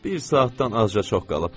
Bir saatdan azca çox qalıb.